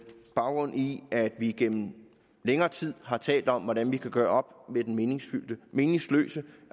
baggrund i at vi igennem længere tid har talt om hvordan vi kan gøre med den meningsløse meningsløse